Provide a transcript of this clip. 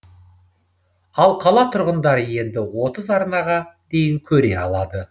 ал қала тұрғындары енді отыз арнаға дейін көре алады